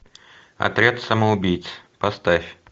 отряд самоубийц поставь